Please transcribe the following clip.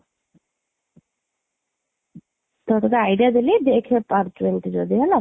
so ତତେ idea ଦେଲି ଦେଖ ତତେ ଯାହା ଲାଗୁଛି ଯଦି ହେଲା,